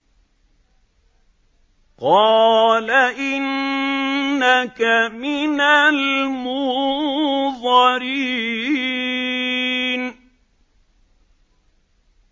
قَالَ إِنَّكَ مِنَ الْمُنظَرِينَ